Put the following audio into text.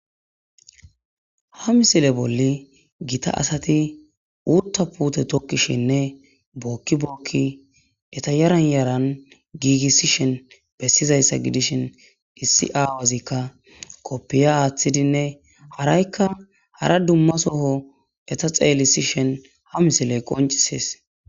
Ha misile bolli gita asati utta puute tokkishinne bookki bookki eta yaran yaran giigissishen bessizayssa gidishin issi aawazikka koppiya aaththidinne haraykka hara dumma soho eta xeellisishen ha misile qoncisees